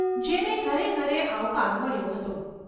જેને ઘરે ઘરે આવકાર મળ્યો હતો.